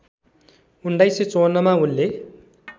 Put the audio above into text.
१९५४ मा उनले